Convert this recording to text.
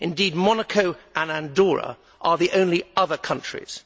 Indeed, Monaco and Andorra are the only other such countries.